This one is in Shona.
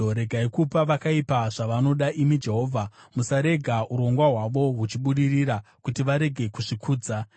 regai kupa vakaipa zvavanoda, imi Jehovha; musarega urongwa hwavo huchibudirira, kuti varege kuzvikudza. Sera